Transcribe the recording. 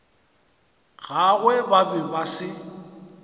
gagwe ba be ba se